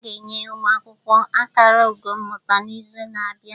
A ga-enye ụmụ akwụkwọ akara ugo mmụta n'izu na-abịa.